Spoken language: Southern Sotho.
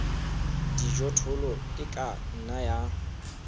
dijothollo e ka nna ya